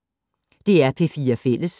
DR P4 Fælles